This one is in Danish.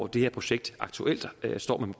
det her projekt aktuelt